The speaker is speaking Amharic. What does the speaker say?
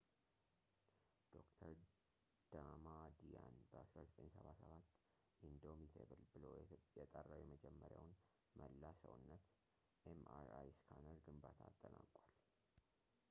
ዶ/ር ዳማዲያን በ1977 ኢንዶሚቴብል” ብሎ የጠራው የመጀመሪያውን መላ-ሰውነት” ኤምአርአይ ስካነር ግንባታ አጠናቋል